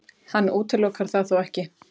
Hann útilokar það þó ekki